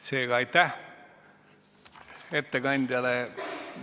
Seega aitäh ettekandjale!